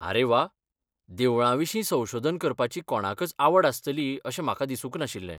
अरे वा, देवळांविशीं संशोधन करपाची कोणाकच आवड आसतली अशें म्हाका दिसूंक नाशिल्लें.